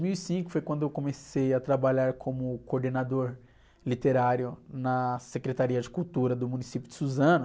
Dois mil e cinco foi quando eu comecei a trabalhar como coordenador literário na Secretaria de Cultura do município de Suzano.